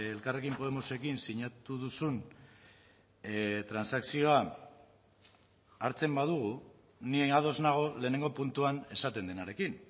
elkarrekin podemosekin sinatu duzun transakzioa hartzen badugu ni ados nago lehenengo puntuan esaten denarekin